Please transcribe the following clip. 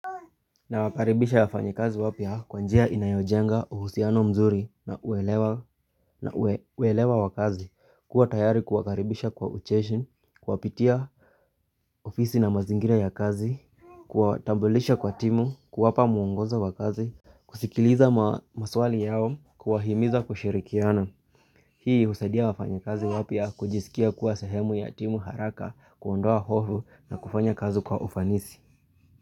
Na wakaribisha wafanyakazi wapya kwanjia inayojenga uhusiano mzuri na uelewa wa kazi kuwa tayari kuwakaribisha kwa ucheshi, kuwapitia ofisi na mazingira ya kazi Kuwatambulisha kwa timu, kuwapa muongozo wa kazi, kusikiliza maswali yao, kuwahimiza kushirikiana Hii husadia wafanyakazi wapya kujisikia kuwa sehemu ya timu haraka, kuondoa hofu na kufanya kazi kwa ufanisi.